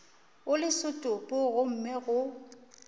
o le setopo gomme go